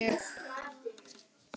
Ég er að verða gömul.